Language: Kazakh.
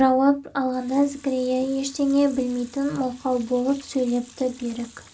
жауап алғанда зікірия ештеңе білмейтін мылқау болып сөйлепті берік